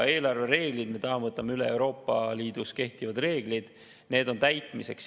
Eelarvereeglid – me täna võtame üle Euroopa Liidus kehtivad reeglid, need on täitmiseks.